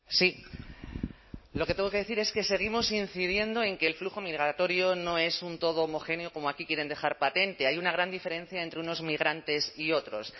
sí lo que tengo que decir es que seguimos incidiendo en que el flujo migratorio no es un todo homogéneo como aquí quieren dejar patente hay una gran diferencia entre unos migrantes y otros